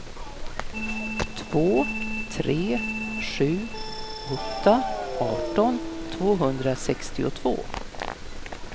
två tre sju åtta arton tvåhundrasextiotvå